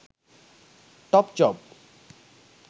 top job